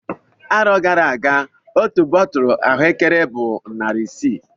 Arọ gara aga otu bọtulụ ahuekere bụ narị isii